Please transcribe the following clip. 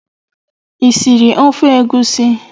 Ị siri ofe egusi?